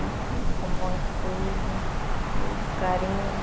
Eu ensino com bom estudo, tudo, carinho.